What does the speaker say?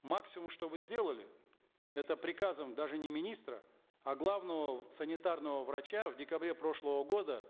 максимум что вы сделали это приказом даже не министра а главного санитарного врача в декабре прошлого года